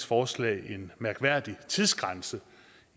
forslag en mærkværdig tidsgrænse